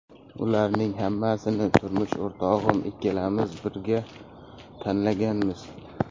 Ularning hammasini turmush o‘rtog‘im ikkimiz birga tanlaganmiz.